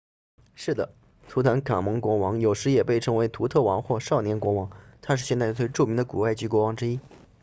是的图坦卡蒙国王有时也被称为图特王或少年国王他是现代最著名的古埃及国王之一